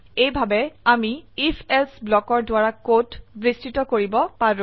এইভাবে আমি IfElse ব্লকৰ দ্বাৰা কোড বিস্তৃত কৰিব পাৰো